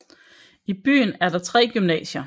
I byen er der tre gymnasier